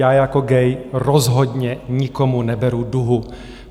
Já jako gay rozhodně nikomu neberu duhu.